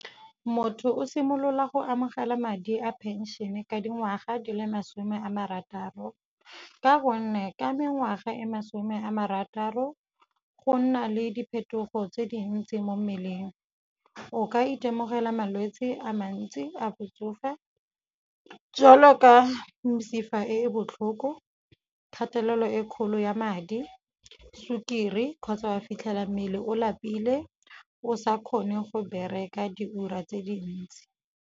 Motho o simolola go amogela madi a phenšene ka dingwaga di le masome a marataro ka gonne ka mengwaga e masome a marataro go nna le diphetogo tse dintsi mo mmeleng, o ka itemogela malwetse a mantsi a botsofe jwalo ka mesifa e e botlhoko, kgatelelo e kgolo ya madi, sukiri kgotsa wa fitlhela mmele o lapile o sa kgone go bereka diura tse dintsi.